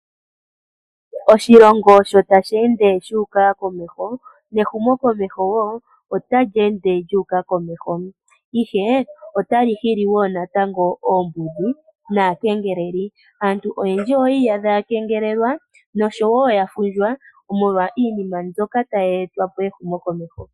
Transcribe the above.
Oshilongo sho tashi ende shuka komeho nehumo komeho otali ende lyuka komeho ihe otali hili natango oombudhi naakengeleli. Aantu oyendji oyi iyadha ya kengelelwa noya fundjwa molwa iinima mbyoka tayi etwa kehumo komeho.